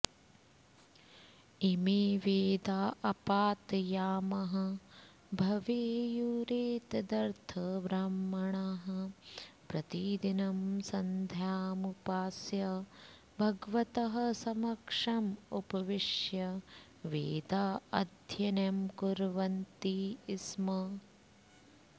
इमे वेदा अपात यामाः भवेयुरेतदर्थ ब्राह्मणाः प्रतिदिनं सन्ध्यामुपास्य भगवतः समक्षम् उपविश्य वेदाध्ययनं कुर्वन्ति स्म